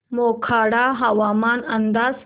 मोखाडा हवामान अंदाज